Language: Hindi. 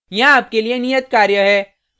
यहाँ आपके लिए नियत कार्य है